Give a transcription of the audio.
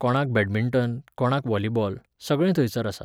कोणाक बॅडमिंटन, कोणाक व्हाॉलिबॉल, सगळें थंयसर आसा.